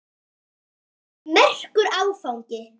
Þetta var merkur áfangi.